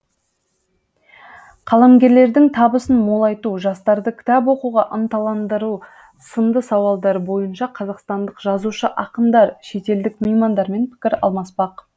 қаламгерлердің табысын молайту жастарды кітап оқуға ынталандыру сынды сауалдар бойынша қазақстандық жазушы ақындар шетелдік меймандармен пікір алмаспақ